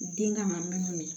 Den ka na minnu ye